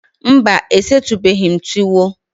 Mba, e setubeghi m tuwo